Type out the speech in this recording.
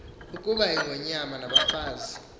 ukuba ingonyama nabafazi